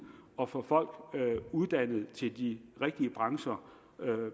og få folk uddannet til de rigtige brancher